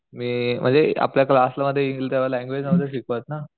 मी म्हणजे आपल्या क्लास मध्ये येईल तेव्हा लँगवेज नहुते शिकवत ना